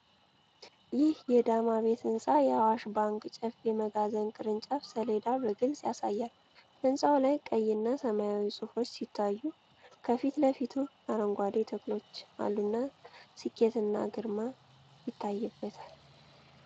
ይህ የ ዳማ ቤት ሕንፃ፣ የአዋሽ ባንክ ጨፌ መጋዘን ቅርንጫፍ ሰሌዳ በግልጽ ያሳያል። ሕንጻው ላይ ቀይ እና ሰማያዊ ጽሑፎች ሲታዩ፣ ከፊት ለፊቱም አረንጓዴ ተክሎች አሉና ስኬትና ግርማ ይታይበታል።